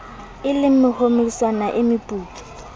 e le homeritshana e meputswa